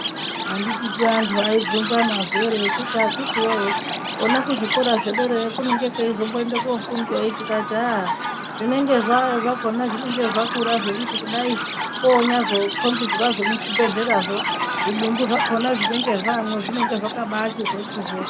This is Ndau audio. Anditika vantu vaibvunzana zuva riye vachiti akiki wee kona kuzvikoro zvedera kunenge kweizonoenda kunofundweyi tikati haa zvinenge zvakona zvinenge zvakura zvokuti kudai onyatsokombidzwazve muzvibhedhlerazvo zvidumbu zvakona zvinenge zvaamo zvinenge zvakabaachizoti hwee.